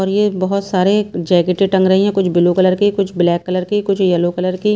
और ये बहुत सारे जैकेटी टंग रही है कुछ ब्लू कलर की कुछ ब्लैक कलर की कुछ येलो कलर की --